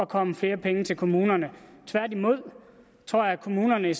komme flere penge til kommunerne tværtimod tror jeg at kommunerne